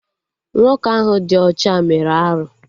Nwoke ahụ dị ọcha mere arụ